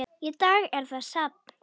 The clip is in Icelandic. Í dag er það safn.